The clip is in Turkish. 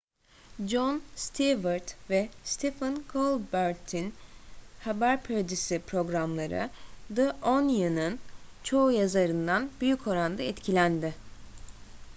jon stewart ve stephen colbert'in haber parodisi programları the onion'un çoğu yazarından büyük oranda etkilendi